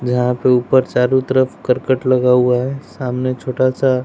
जहां पे ऊपर चारों तरफ कर्कट लगा हुआ हैं सामने छोटा सा--